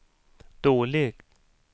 dåligt